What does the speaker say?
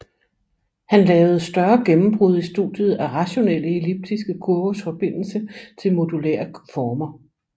Han lavede større gennembrud i studiet af rationelle elliptiske kurvers forbindelse til modulære former